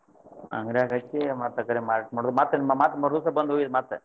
ಅಂಗಡ್ಯಾಗ್ ಹಚ್ಚಿ ಮತ್ ಅಕೆಡೆ ಮಾರುದ. ಮತ್~ ಮತ್ ಮರ್ದಿವಸ ಬಂದ ಒಯ್ಯುದ ಮತ್?